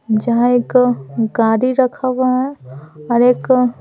जहाँ एक गाड़ी रखा हुआ है और एक--